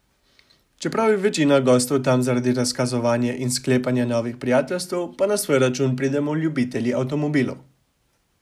Čeprav je večina gostov tam zaradi razkazovanja in sklepanja novih prijateljstev, pa na svoj račun pridemo ljubitelji avtomobilov.